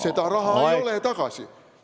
Seda raha ei ole tagasi.